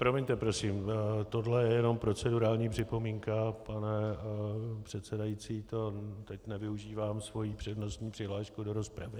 Promiňte, prosím, tohle je jenom procedurální připomínka, pane předsedající, to teď nevyužívám svoji přednostní přihlášku do rozpravy.